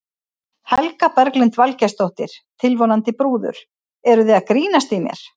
Helga Berglind Valgeirsdóttir, tilvonandi brúður: Eruð þið að grínast í mér?